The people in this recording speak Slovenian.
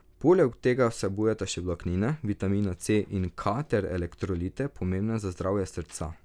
Poleg tega vsebujeta še vlaknine, vitamina C in K ter elektrolite, pomembne za zdravje srca.